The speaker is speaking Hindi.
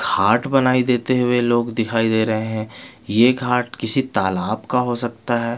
घाट बनाई देते हुए लोग दिखाई दे रहे है ये घाट किसी तालाब का हो सकता है।